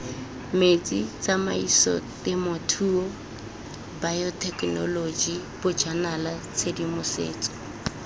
metsi tsamaisotemothuo bayothekenoloji bojanala tshedimosetso